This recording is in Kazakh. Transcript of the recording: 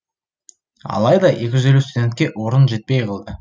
алайда екі жүз елу студентке орын жетпей қалды